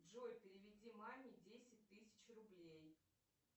джой переведи маме десять тысяч рублей